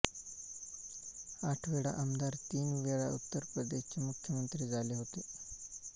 आठवेळा आमदार तीन वेळा उत्तर प्रदेशचे मुख्यमंत्री झाले होते